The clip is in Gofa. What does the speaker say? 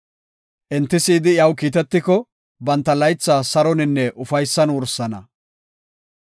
Enti si7idi iyaw kiitetiko, banta laytha saroninne ufaysan wursana.